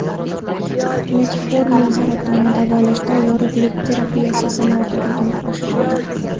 Metformin saratonni davolashda yorug‘lik terapiyasi samaradorligini oshiradi.